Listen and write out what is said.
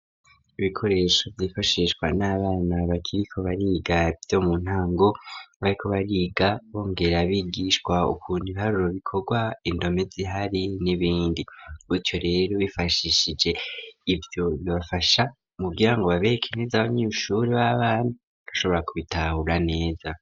Ibikoresho vy'ifashishwa n'abana bakiriko bariga ivyo mu ntango bariko bariga bongera bigishwa ukuntu ibiharuro bikorwa indome zihari n'ibindi gutyo rero bifashishije ivyo bibafasha mukugirango babereke neza abanyeshuri b'abana badashobora kubitahura neza.